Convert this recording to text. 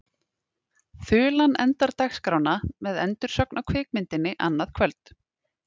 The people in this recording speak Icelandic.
Þulan endar dagskrána með endursögn á kvikmyndinni annað kvöld.